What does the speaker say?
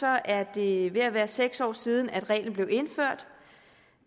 er det ved at være seks år siden at reglen blev indført